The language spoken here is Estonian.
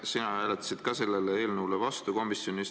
Sina hääletasid komisjonis ka selle eelnõu vastu.